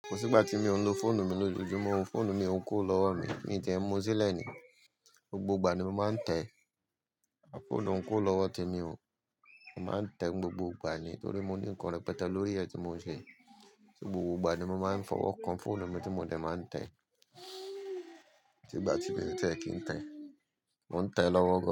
Kò sí ìgbà tí mi ò ń lo fóònù mi lójoojúmọ́, fóònù mi ò ń kó lọ́wọ́ mi, mi tẹ̀ ń mú sílẹ̀ ni, gbogbo ìgbà ni mo máa ń tẹ̀, a fóònù ń kó lọ́wọ́ ti mi o, mo máa ń tẹ gbogbo ìgbà ni torí mo ní ńkan rẹpẹtẹ lórí ẹ tí mo ń ṣe, gbogbo ìgbà ni mo máa ń fọwọ́ kan fóònù mi tí mo dẹ̀ máa ń tẹ, tí ìgbà tí bẹ́ẹ̀ tẹ́ kí ń tẹ́, mò ń tẹ́ lọ́wọ́